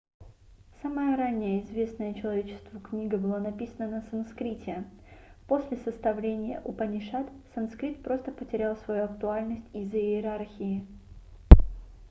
самая ранняя известная человечеству книга была написана на санскрите после составления упанишад санскрит просто потерял свою актуальность из-за иерархии